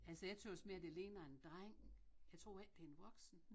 Altså jeg tøs mere det ligner en dreng jeg tror ikke det en voksen